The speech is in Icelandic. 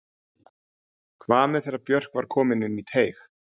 Hvað með þegar Björk var komin inn í teig?